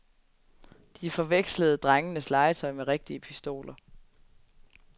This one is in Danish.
De forvekslede drengenes legetøj med rigtige pistoler.